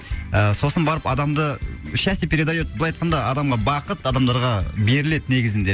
ы сосын барып адамды счастье передает былай айтқанда адамға бақыт адамдарға беріледі негізінде